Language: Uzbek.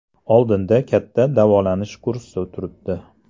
Oldinda katta davolanish kursi turibdi.